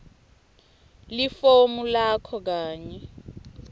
lifomu lakho kanye